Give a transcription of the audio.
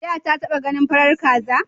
Da taba ganin farar kasa?